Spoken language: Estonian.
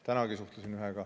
Tänagi suhtlesin ühega.